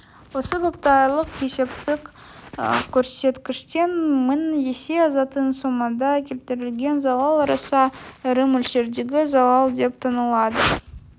осы бапта айлық есептік көрсеткіштен мың есе асатын сомада келтірілген залал аса ірі мөлшердегі залал деп танылады